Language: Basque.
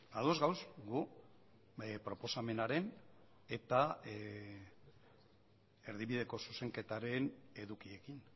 ados gaude gu proposamenaren eta erdibideko zuzenketaren edukiekin